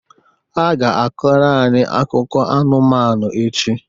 Ha ga-akọrọ anyị akụkọ anụmanụ echi